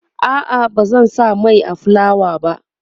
a'a bazan sa Mai a fulawa ba